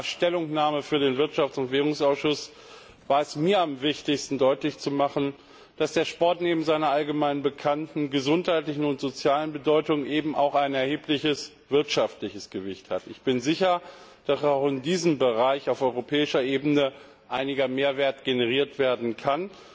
Mit meiner Stellungnahme für den Wirtschafts und Währungsausschuss war es mir am wichtigsten, deutlich zu machen, dass der Sport neben seiner allgemein bekannten gesundheitlichen und sozialen Bedeutung eben auch ein erhebliches wirtschaftliches Gewicht hat. Ich bin sicher, dass auch in diesem Bereich auf europäischer Ebene einiger Mehrwert generiert werden kann.